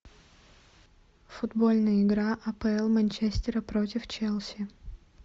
футбольная игра апл манчестера против челси